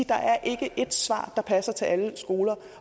der er ikke ét svar der passer til alle skoler